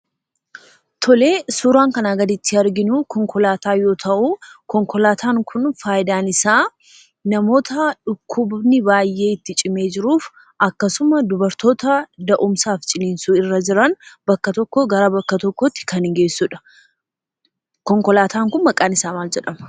Tole, suuraan kanaa gaditti arginu konkolaataa yoo ta'u, konkolaataan kun, faayidaan isaa namoota dhukkubni baay'ee itti cimee jiruuf, akkasumas dubartoota da'umsaaf ciniinsuu irra jiran, bakka tokko gara bakka tokkotti kan geessuudha. Konkolaatan kun maqaan isaa maal jedhama?